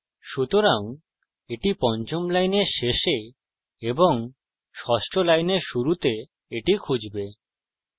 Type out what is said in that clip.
সুতরাং এটি পঞ্চম লাইনের শেষে এবং ষষ্ঠ লাইনের শুরুতে এটি খুঁজবে